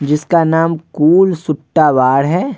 जिसका नाम cool Sutta bar है।